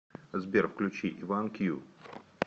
сбер включи иван кью